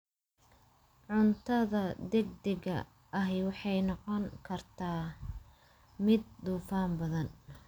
Cuntada degdega ahi waxay noqon kartaa mid dufan badan.